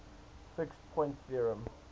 fixed point theorem